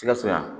Sikaso yan